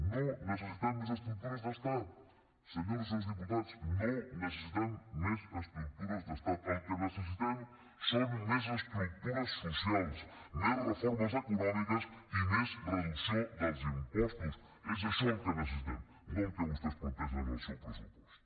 no necessitem més estructures d’estat senyores i senyors diputats no necessitem més estructures d’estat el que necessitem són més estructures socials més reformes econòmiques i més reducció dels impostos és això el que necessitem no el que vostès plantegen en el seu pressupost